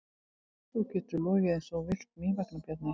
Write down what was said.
Þú getur logið eins og þú vilt mín vegna, sagði Bjarni.